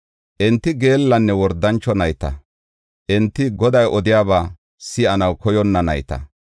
Enti geellanne wordancho nayta; enti Goday odiyaba si7anaw koyonna nayta.